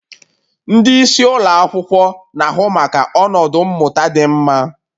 Ndị isi ụlọ akwụkwọ na-ahụ maka ọnọdụ mmụta dị mma